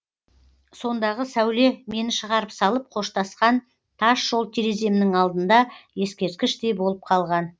сондағы сәуле мені шығарып салып қоштасқан тас жол тереземнің алдында ескерткіштей болып қалған